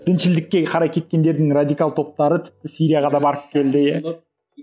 діншілдікке қарай кеткендердің радикал топтары тіпті сирияға да барып келді иә